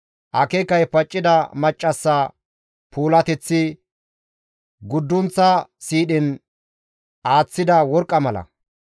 Akeekay paccida maccassa puulateththi guddunththa siidhen aaththida worqqa mala.